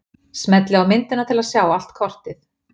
Smellið á myndina til að sjá allt kortið.